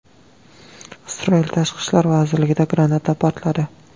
Isroil tashqi ishlar vazirligida granata portladi.